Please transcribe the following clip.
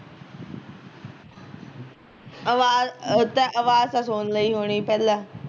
ਆਵਾਜ਼ ਹਮ ਤੈ ਆਵਾਜ਼ ਤਾਂ ਸੁਣ ਲਈ ਹੋਣੀ ਪਹਿਲਾਂ